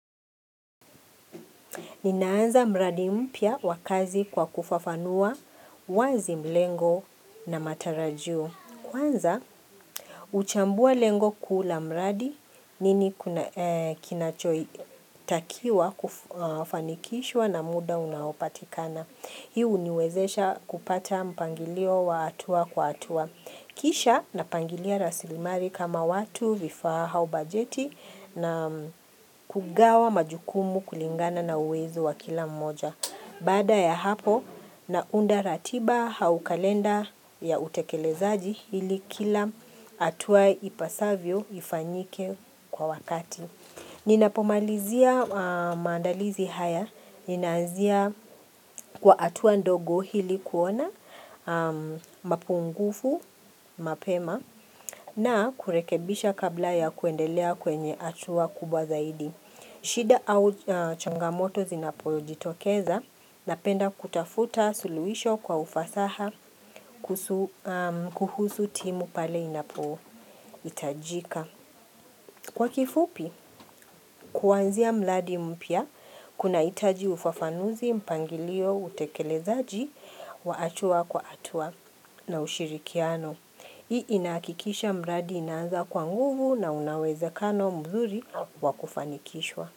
Ninaanza mradi mpya wa kazi kwa kufafanua wazi mlengo na matarajio. Kwanza, uchambue lengo kula mradi nini kinachoi takiwa kufanikishwa na muda unaopatikana. Hii huniwezesha kupata mpangilio wa hatua kwa hatua. Kisha napangilia rasilimali kama watu vifaa au bajeti na kugawa majukumu kulingana na uwezo wa kila mmoja. Baada ya hapo naunda ratiba au kalenda ya utekelezaji hili kila hatua ipasavyo ifanyike kwa wakati. Ninapomalizia maandalizi haya, ninaanzia kwa hatua ndogo ili kuona, mapungufu, mapema, na kurekebisha kabla ya kuendelea kwenye hatua kubwa zaidi. Shida au changamoto zinapojitokeza, napenda kutafuta suluhisho kwa ufasaha kuhusu timu pale inapohitajika. Kwa kifupi, kuanzia mradi mpya, kunahitaji ufafanuzi, mpangilio, utekelezaji, wa hatua kwa hatua na ushirikiano. Hii inakikisha mradi inaanza kwa nguvu na una uwezakano mzuri wakufanikishwa.